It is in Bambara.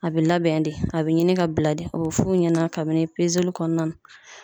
A be labɛn de a be ɲini ka bila de o f'u ɲɛna kabini pezeli kɔnɔna na